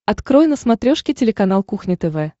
открой на смотрешке телеканал кухня тв